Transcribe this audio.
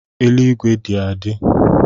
Eluigwe dị adị